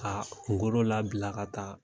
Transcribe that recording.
A kunkolo labila ka taa